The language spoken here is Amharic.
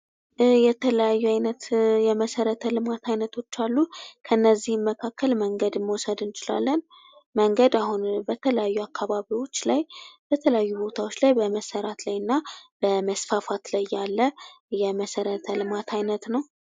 የተለያዩ አይነት የመሠረተ ልማት አይነቶች አሉ። ከነዚህም መካከል መንገድን መውሰድ እንችላለን። መንገድ አሁን በተለያዩ አካባቢዎች ላይ በተለያዩ ቦታዎች ላይ በመሰራት ላይ እና በመስፋፋት ላይ ያለ የመሰረተ ልማት አይነት ነው።